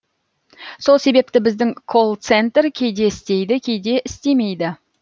сол себепті біздің колл центр кейде істейді кейде істемейді